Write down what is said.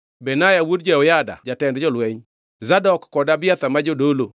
Benaya wuod Jehoyada jatend jolweny. Zadok kod Abiathar ma jodolo;